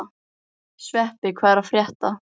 Sveppi, hvað er að frétta?